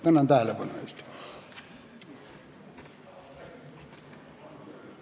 Tänan tähelepanu eest!